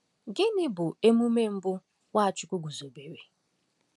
Gịnị bụ emume mbụ Nwachukwu guzobere?